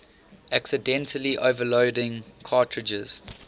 accidentally overloading cartridges